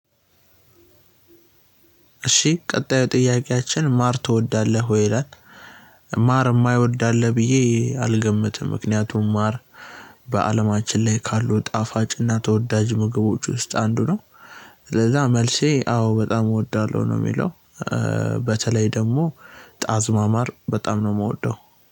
እሺ ቀጣዩ ጥያቄያችን ማር ትወዳለህ ወይ ይላል? ማር የማይወድ አለ ብዬ አልገምትም። ምክንያቱም ማር በአለማችን ላይ ካሉ ጣፋጭና ተወዳጅ ምግቦች ውስጥ አንዱ ነው። ስለዛ መልሴ አዎ በጣም እወዳለሁ ነው የሚለው። በተለይ ደግሞ ጣዝማ ማር በጣም ነው የምወደው።